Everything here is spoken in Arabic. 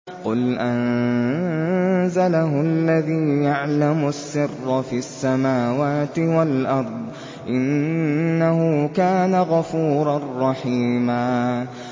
قُلْ أَنزَلَهُ الَّذِي يَعْلَمُ السِّرَّ فِي السَّمَاوَاتِ وَالْأَرْضِ ۚ إِنَّهُ كَانَ غَفُورًا رَّحِيمًا